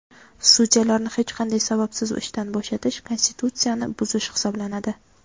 Sudyalarni hech qanday sababsiz ishdan bo‘shatish konstitutsiyani buzish hisoblanadi.